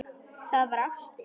Það var ástin.